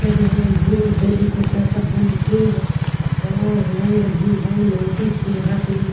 तेने धोती धोती कुड़ता पहन के और यंग भी है लेडीज भी यहापे --